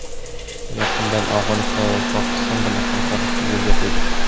Yaqindan Afg‘oniston va Pokiston bilan hamkorlikni yo‘lga qo‘ydik.